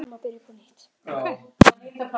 Tvisvar, þrisvar?